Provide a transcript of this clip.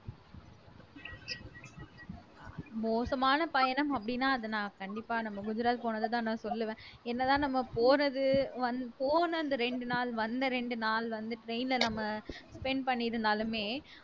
மோசமான பயணம் அப்படின்னா அதை நான் கண்டிப்பா நம்ம குஜராத் போனததான் நான் சொல்லுவேன் என்னதான் நம்ம போறது வந் போன அந்த ரெண்டு நாள் வந்த ரெண்டு நாள் வந்து train ல நம்ம spend பண்ணியிருந்தாலுமே